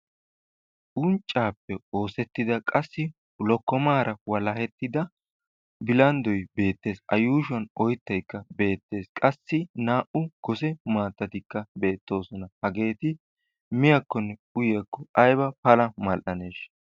Unccaappe oosettida qassi lokkomaara walahettida bilanddoy beettees. A yuushuwan oyittaykka beettees. Qassi naa"u gose maattatikka beettoosona. Hageeti miyakkonne uyiyakko ayiba Pala mal'aneeshsha!